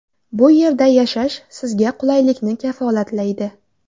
Bu yerda yashash sizga qulaylikni kafolatlaydi.